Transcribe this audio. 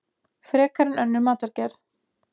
Frekar en önnur matargerð.